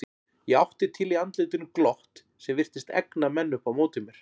Ég átti til í andlitinu glott sem virtist egna menn upp á móti mér.